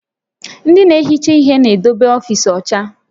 Ndị na-ehicha ihe na-edebe ọfiisi ọcha